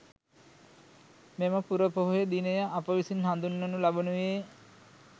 මෙම පුරපොහෝ දිනය අප විසින් හඳුන්වනු ලබනුයේ